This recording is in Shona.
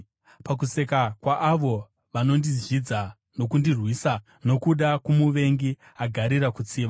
pakuseka kwaavo vanondizvidza nokundirwisa, nokuda kwomuvengi, agarira kutsiva.